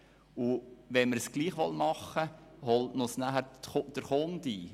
Tun wir es trotzdem, holt uns die Rückmeldung des Kunden ein.